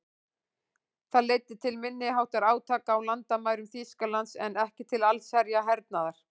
Það leiddi til minniháttar átaka á landamærum Þýskalands en ekki til allsherjar hernaðar.